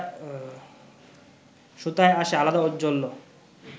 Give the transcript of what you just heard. সুতায় আসে আলাদা ঔজ্জ্বল্য